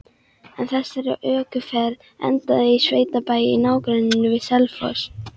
Ein þessara ökuferða endaði á sveitabæ í nágrenni við Selfoss.